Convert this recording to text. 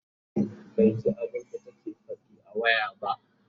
baiji abunda take ta Faɗi a waya ba